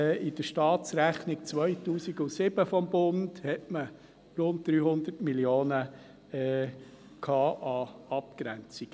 In der Staatsrechnung 2007 des Bundes hatte man rund 300 Mio. Franken an Abgrenzungen.